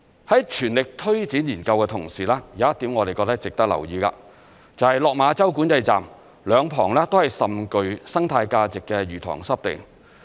在全力推展研究的同時，有一點我們覺得值得留意的，就是落馬洲管制站兩旁都是甚具生態價值的魚塘濕地。